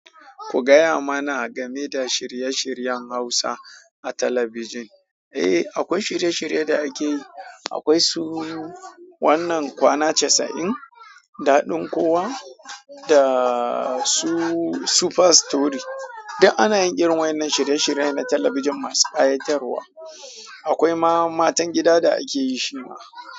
Ku gaya mana game da shirye-shiryen Hausa a talabijin. Eh, akwai shirye-shirye da ake yi. Akwai su, wannan kwana casa'in, daɗin kowa, da su super story. Duk ana yin irin wannan shirye-shirye na talabijin masu ƙayatarwa. Akwai ma matan gida da ake yi shima.